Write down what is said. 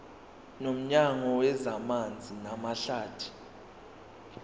nomnyango wezamanzi namahlathi